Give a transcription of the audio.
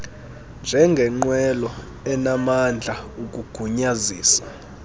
njengengqwelo enamandla ukugunyazisa